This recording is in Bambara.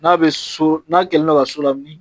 N'a bɛ so n'a kɛlen do ka so lamini